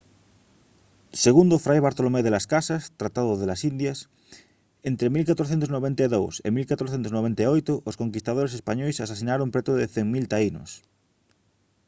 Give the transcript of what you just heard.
segundo fray bartolomé de las casas tratado de las indias entre 1492 e 1498 os conquistadores españois asasinaron preto de 100 000 taínos